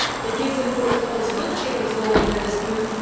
it gives them more responsibility in resolving their disputes